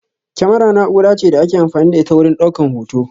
Kyamara na'ura ce da ake amfani da ita wurin ɗaukan hoto